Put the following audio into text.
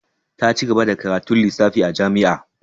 Ta ci gaba da karatun lissafi a jami'a.